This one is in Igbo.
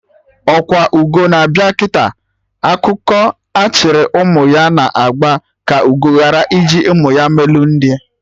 Ọkwa ugo na-abịa kịta, ọkụkọ achịrị ụmụ ya na agba ka ugo ghara iji ụmụ ya melu nri